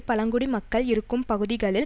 பழங்குடி மக்கள் இருக்கும் பகுதிகளில்